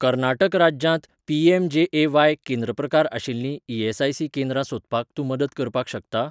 कर्नाटक राज्यांत पी.एम.जे.ए.व्हाय. केंद्र प्रकार आशिल्लीं ई.एस.आय.सी. केंद्रां सोदपाक तूं मदत करपाक शकता?